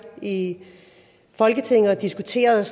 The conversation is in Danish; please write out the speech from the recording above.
i folketinget og diskuteret